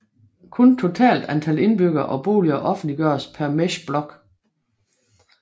Kun totalt antal indbyggere og boliger offentliggøres per mesh block